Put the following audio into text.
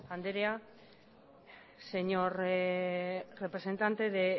andrea señor representante de